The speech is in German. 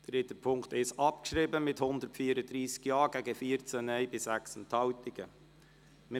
Sie haben den Punkt 1 mit 134 Ja- zu 14 Nein-Stimmen bei 6 Enthaltungen abgeschrieben.